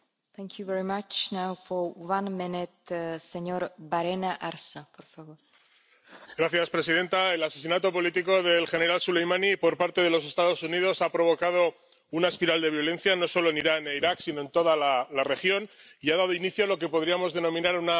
Señora presidenta, el asesinato político del general Soleimani por parte de los Estados Unidos ha provocado una espiral de violencia, no solo en Irán e Irak sino en toda la región, y ha dado inicio a lo que podríamos denominar un nuevo tipo de guerra fría, incluidas esas guerras